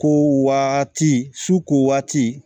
Ko waati su ko waati